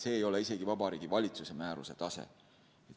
See ei ole isegi Vabariigi Valitsuse määruse tase.